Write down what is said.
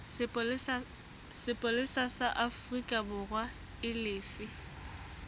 sepolesa sa aforikaborwa e lefe